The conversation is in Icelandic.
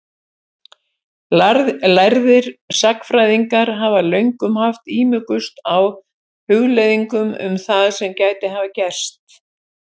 Lærðir sagnfræðingar hafa löngum haft ímugust á hugleiðingum um það sem gæti hafa gerst.